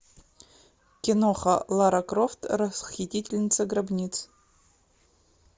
киноха лара крофт расхитительница гробниц